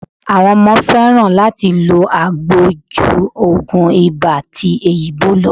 Àwọn ọmọ fẹ́ràn láti lo agbo ju ogun ibà ti òyìnbó lọ.